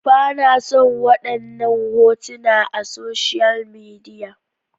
Ba na son wadannan hotuna a social media.